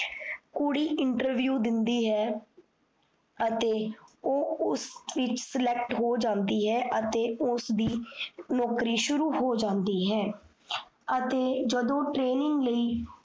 ਕੁੜੀ interview ਦਿੰਦੀ ਹੈ। ਅਤੇ ਓਹ ਉਸ ਵਿੱਚ select ਹੋ ਜਾਂਦੀ ਹੈ, ਅਤੇ ਉਸਦੀ ਨੋਕਰੀ ਸ਼ੁਰੂ ਹੋ ਜਾਂਦੀ ਹੈ। ਅਤੇ ਜਦੋਂ training ਲਈ